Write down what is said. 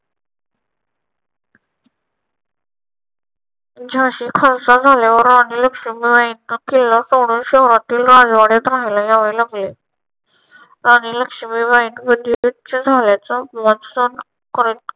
झांशी खालसा झाल्यावर लक्ष्मीबाईंना किल्ला सोडून शहरातील राजवाड्यात राहायला जावे लागले. राणी लक्ष्मीबाईंनी म्हणजे